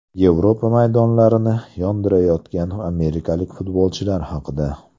Yevropa maydonlarini yondirayotgan amerikalik futbolchilar haqida.